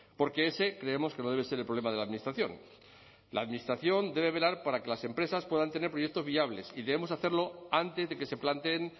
porque ese creemos que no debe ser el problema de la administración la administración debe velar para que las empresas puedan tener proyectos viables y debemos hacerlo antes de que se planteen